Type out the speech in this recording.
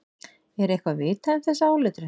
Er eitthvað vitað um þessa áletrun?